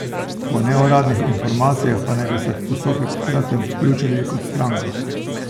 Po neuradnih informacijah pa naj bi se v postopek v kratkem vključili kot stranka.